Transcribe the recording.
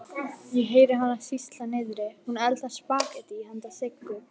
Ég heyri hana sýsla niðri, hún eldar spagettí handa Siggu.